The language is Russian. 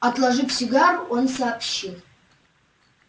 отложив сигару он сообщил